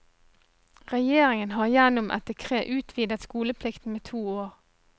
Regjeringen har gjennom et dekret utvidet skoleplikten med to år.